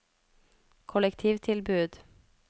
kollektivtilbud